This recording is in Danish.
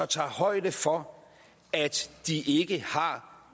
tager højde for at de ikke har